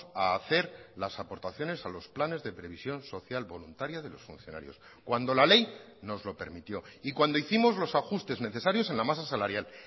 a hacer las aportaciones a los planes de previsión social voluntaria de los funcionarios cuando la ley nos lo permitió y cuando hicimos los ajustes necesarios en la masa salarial